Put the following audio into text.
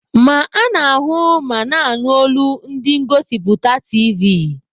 Ma ana-ahụ ma na-anụ olu ndi ngosipụta tiivi.